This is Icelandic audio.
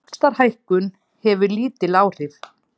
Vaxtahækkun hefur lítil áhrif